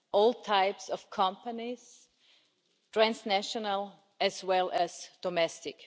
all types of companies, transnational as well as domestic.